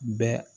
Bɛɛ